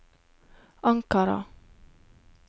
Ankara